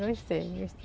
Gostei, gostei.